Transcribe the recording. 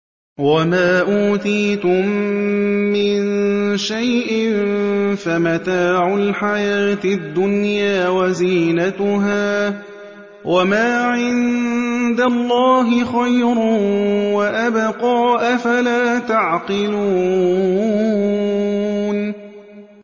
وَمَا أُوتِيتُم مِّن شَيْءٍ فَمَتَاعُ الْحَيَاةِ الدُّنْيَا وَزِينَتُهَا ۚ وَمَا عِندَ اللَّهِ خَيْرٌ وَأَبْقَىٰ ۚ أَفَلَا تَعْقِلُونَ